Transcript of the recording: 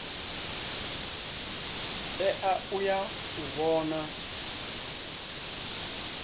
tea u ya u vhona